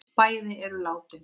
Bæði eru látin.